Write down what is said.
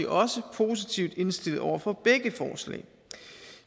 også positivt indstillet over for begge forslag